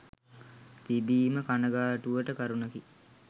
තිබීම කණගාටුවට කරුණකි.